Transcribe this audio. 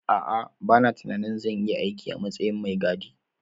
A'a, bana tunanin zan iya aiki a matsayin mai gadi.